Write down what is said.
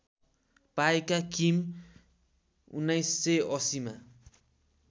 पाएका किम १९८०मा